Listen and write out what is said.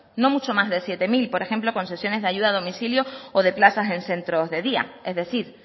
no mucho más de siete mil por ejemplo con sesiones de ayuda a domicilio o de plazas en centros de día es decir